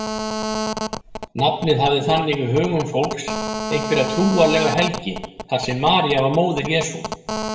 Nafnið hafði þannig í hugum fólks einhverja trúarlega helgi þar sem María var móðir Jesú.